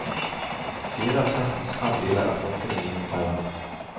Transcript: Fire av testens fem biler er flunkende nye modeller.